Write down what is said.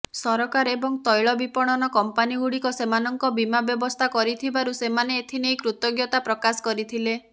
ସରକାର ଏବଂ ତୈଳ ବିପଣନ କମ୍ପାନୀଗୁଡ଼ିକ ସେମାନଙ୍କ ବୀମା ବ୍ୟବସ୍ଥା କରିଥିବାରୁ ସେମାନେ ଏଥିନେଇ କୃତଜ୍ଞତା ପ୍ରକାଶ କରିଥିଲେ